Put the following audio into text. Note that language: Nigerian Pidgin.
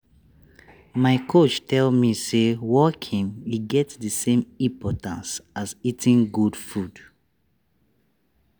my coach tell me say walking e get the same importance as eating good food.